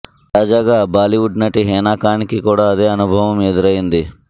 తాజాగా బాలీవుడ్ నటి హీనా ఖాన్ కి కూడా అదే అనుభవం ఎదురైంది